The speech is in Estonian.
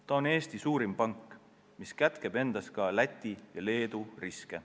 See on Eesti suurim pank, mis kätkeb endas ka Läti ja Leedu riske.